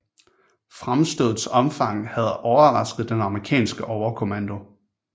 Fremstødets omfang havde overrasket den amerikanske overkommando